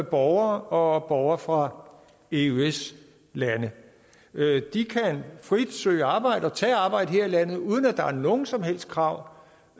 borgere og borgere fra eøs lande de kan frit søge arbejde og tage arbejde her i landet uden at der er nogen som helst krav